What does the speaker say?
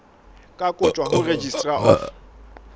ka kotjwa ho registrar of